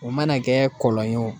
O mana kɛ kɔlɔn ye o